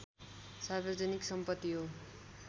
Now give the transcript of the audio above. सार्वजनिक सम्पति हो